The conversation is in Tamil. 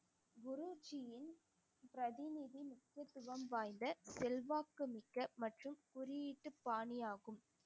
குருஜீயின் பிரதிநிதி வாய்ந்த செல்வாக்கு மிக்க மற்றும் குறியீட்டு பாணி ஆகும்